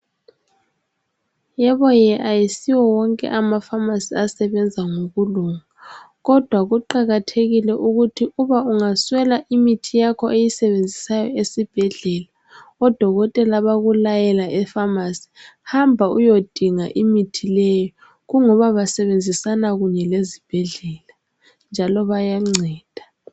Yebo ye akusiwo wonke amafamasi asebenza ngokulunga, kodwa kuqakathekile ukuthi uba ungaswela imithi yakho oyisebenzisayo esibhedlela odokotela bakulayela efamasi, hamba uyodinga imithi leyo, kungoba basebenzisana kunye lezibhedlela, njalo bayanceda.